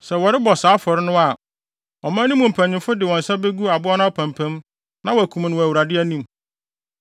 Sɛ wɔrebɔ saa afɔre no a, ɔman no mu mpanyimfo de wɔn nsa begu aboa no apampam na wɔakum no wɔ Awurade anim.